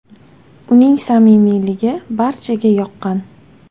Uning samimiyligi barchaga yoqqan.